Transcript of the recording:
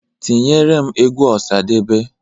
Tinyeere m egwu Ọsadebe!